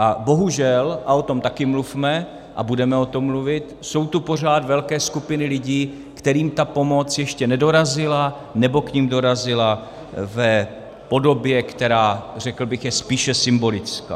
A bohužel, a o tom taky mluvme a budeme o tom mluvit, jsou tu pořád velké skupiny lidí, kterým ta pomoc ještě nedorazila nebo k nim dorazila v podobě, která, řekl bych, je spíše symbolická.